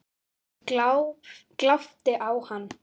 Ég glápti á hana.